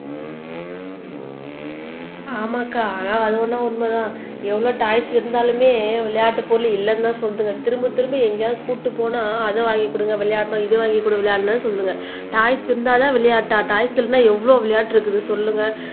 ஆமாக்கா அது அதுவேனா உண்மைதான் எவ்வளவு டாய்ஸ் இருந்தாலுமே விளையாட்டுப் பொருள் இல்லைன்னுதான் சொல்லிட்டு திரும்பத் திரும்ப எங்கேயாவது கூட்டிட்டுப் போனா அத வாங்கிக் குடுங்க விளையாடணும் இத வாங்கிக் குடு விளையாடணும்ன்னு சொல்லுங்க டாய்ஸ் இருந்தாதான் விளையாட்டா டாய்ஸ் இல்லைன்னா எவ்வளவு விளையாட்டு இருக்குது சொல்லுங்க